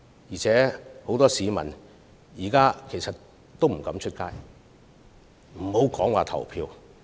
而且，很多市民現在不敢外出，遑論前往投票。